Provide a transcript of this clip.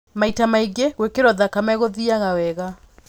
Maita maingĩ gwĩkĩro thakame gũthiaga wega.